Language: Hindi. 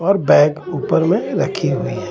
और बैग ऊपर में रखी हुई है.